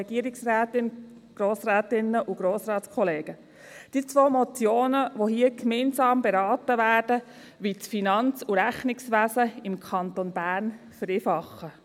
Diese zwei Motionen, die hier gemeinsam beraten werden, wollen das Finanz- und Rechnungswesen im Kanton Bern vereinfachen.